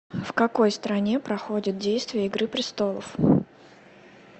в какой стране проходит действие игры престолов